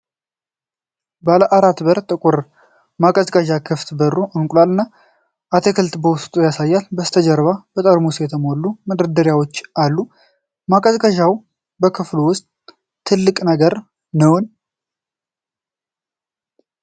ባለአራት-በር፣ ጥቁር ማቀዝቀዣ ክፍት በሩ እንቁላልና አትክልት በውስጡ ያሳያል። ከበስተጀርባ በጠርሙስ የተሞሉ መደርደሪያዎች አሉ። ማቀዝቀዣው በክፍሉ ውስጥ ትልቁ ነገር ነው?